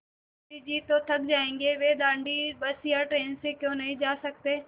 गाँधी जी तो थक जायेंगे वे दाँडी बस या ट्रेन से क्यों नहीं जा सकते